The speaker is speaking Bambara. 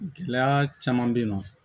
Gɛlɛya caman bɛ yen nɔ